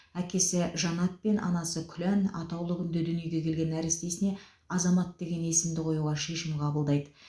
әкесі жанат пен анасы күлән атаулы күнде дүниеге келген нәрестесіне азамат деген есімді қоюға шешім қабылдайды